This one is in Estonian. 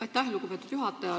Aitäh, lugupeetud juhataja!